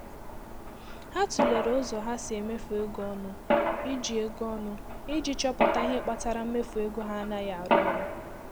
Ha tụlere ụzọ ha si emefu ego ọnụ iji ego ọnụ iji chọpụta ihe kpatara mmefu ego ha anaghị arụ ọrụ.